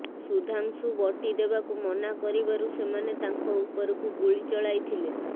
ସୁଧାଂଶୁ ବଟି ଦେବାକୁ ମନା କରିବାରୁ ସେମାନେ ତାଙ୍କ ଉପରକୁ ଗୁଳି ଚଳାଇଥିଲେ